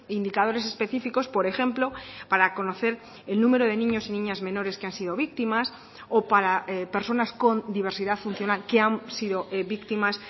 indicadores específicos por ejemplo para conocer el número de niños y niñas menores que han sido víctimas o para personas con diversidad funcional que han sido víctimas